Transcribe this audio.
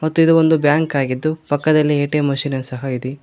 ಮತ್ತೆ ಇದು ಒಂದು ಬ್ಯಾಂಕ್ ಆಗಿದ್ದು ಪಕ್ಕದಲ್ಲೇ ಏ_ಟಿ_ಎಂ ಮಷೀನು ಸಹ ಇದೆ.